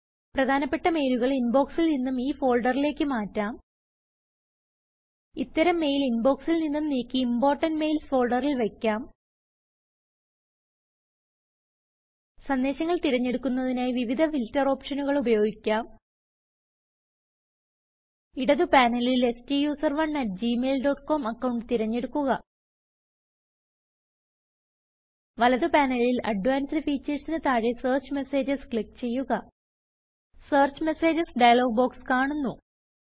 പ്രധാനപ്പെട്ട മെയിലുകൾ ഇൻബോക്സിൽ നിന്നും ഈ ഫോൾഡറിലേക്ക് മാറ്റാം ഇത്തരം മെയിൽ ഇൻബോക്സിൽ നിന്നും നീക്കിimportant mailsഫോൾഡറിൽ വയ്ക്കാം സന്ദേശങ്ങൾ തിരഞ്ഞെടുക്കുന്നതിനായി വിവിധ ഫിൽറ്റർ ഓപ്ഷനുകൾ ഉപയോഗിക്കാം ഇടത് പാനലിൽ STUSERONEgmail ഡോട്ട് comഅക്കൌണ്ട് തിരഞ്ഞെടുക്കുക വലത് പാനലിൽ അഡ്വാൻസ്ഡ് ഫീച്ചർസ് ന് താഴെ സെർച്ച് മെസേജസ് ക്ലിക്ക് ചെയ്യുക സെർച്ച് മെസേജസ് ഡയലോഗ് ബോക്സ് കാണുന്നു